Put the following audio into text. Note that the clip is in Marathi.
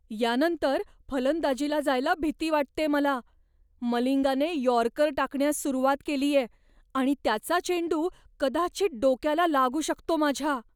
यानंतर फलंदाजीला जायला भीती वाटतेय मला. मलिंगाने यॉर्कर टाकण्यास सुरुवात केलीये आणि त्याचा चेंडू कदाचित डोक्याला लागू शकतो माझ्या.